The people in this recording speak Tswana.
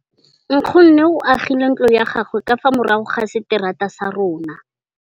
Nkgonne o agile ntlo ya gagwe ka fa morago ga seterata sa rona.